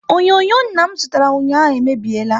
Onyonyo nna m zụtara ụnyaahụ e mebiela